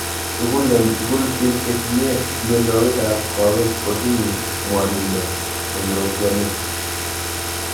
Tugul eng' tugul , piik che tinye mianwokik ap kawek kotinye mwanindo eng' rootyonet .